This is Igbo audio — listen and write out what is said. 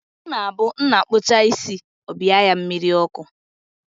Ọ na-abụ nna kpuchaa isi, ọ bịa ya mmiri ọkụ